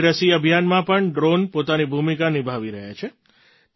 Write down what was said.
covid રસી અભિયાનમાં પણ ડ્રૉન પોતાની ભૂમિકા નિભાવી રહ્યાં છે